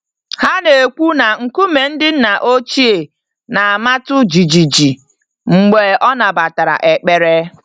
Ha na-ekwu na nkume ndị nna ochie na-amatụ jijiji mgbe ọ nabatara ekpere.